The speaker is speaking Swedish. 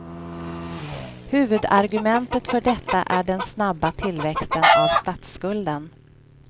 Huvudargumentet för detta är den snabba tillväxten av statsskulden.